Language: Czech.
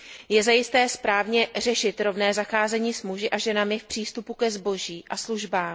Je zajisté správné řešit rovné zacházení s muži a ženami v přístupu ke zboží a službám.